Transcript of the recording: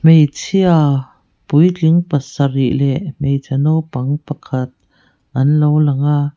hmeichhia puitling pasarih leh hmeichhe naupang pa khat anlo lang a.